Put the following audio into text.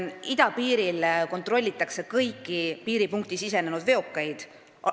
Idapiiril kontrollitakse kõiki piiripunkti sisenenud veokeid.